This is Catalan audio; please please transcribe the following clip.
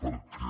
perquè